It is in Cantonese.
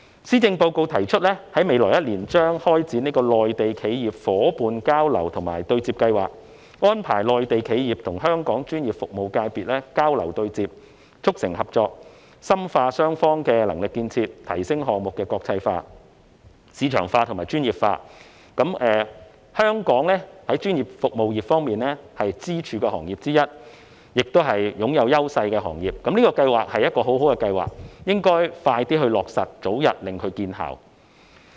施政報告提出在未來一年將開展內地企業伙伴交流及對接計劃，安排內地企業與香港專業服務界別交流對接，促成合作，並深化雙方的能力建設，提升項目的國際化、市場化和專業水平化。專業服務業是香港的支柱行業之一，亦是具有優勢的行業。有關計劃是一項很好的計劃，應該盡快落實，讓它早日發揮效果。